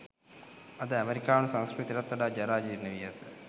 අද ඇමෙරිකානු සංස්කෘතියටත් වඩා ජරා ජීර්ණ වී ඇත.